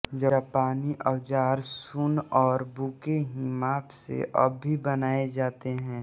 जापानी औज़ार सुन और बु के ही माप से अब भी बनाये जाते हैं